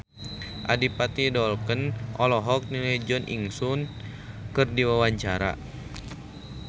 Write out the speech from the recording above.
Adipati Dolken olohok ningali Jo In Sung keur diwawancara